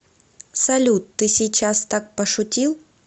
салют ты сейчас так пошутил